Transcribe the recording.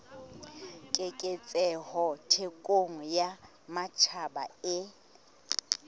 keketseho thekong ya matjhaba e